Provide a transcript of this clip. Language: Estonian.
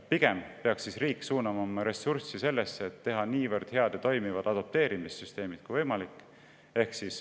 Pigem peaks riik suunama oma ressursse sellesse, et teha võimalikult head ja toimivad adopteerimissüsteemid.